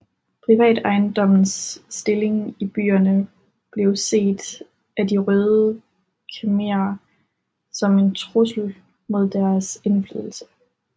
Privatejendommens stilling i byerne blev set af De røde khmerer som en trussel mod deres indflydelse